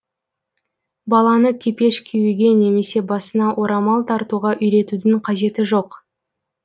баланы кепеш киюге немесе басына орамал тартуға үйретудің қажеті жоқ